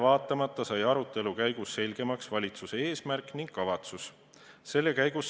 Aga arutelu käigus said valitsuse eesmärgid ning kavatsused selgemaks.